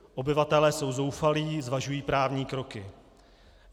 Obyvatelé jsou zoufalí, zvažují právní kroky.